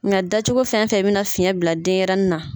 Nka dacogo fɛn fɛn bɛ na fiyɛn bila denɲɛrɛnin na.